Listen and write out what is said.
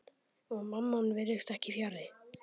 Og Mammon virðist ekki fjarri.